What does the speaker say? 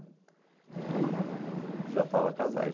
E... Você já estava casado aí? Já estava casado.